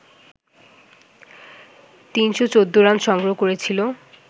৩১৪ run সংগ্রহ করেছিল